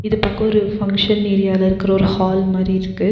இது பாக்க ஒரு ஃபங்ஷன் ஏரியால இருக்கிற ஒரு ஹால் மாறி இருக்கு.